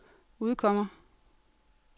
udkommer